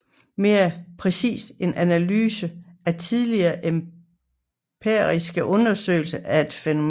Mere præcist en analyse af tidligere empiriske undersøgelser af et fænomen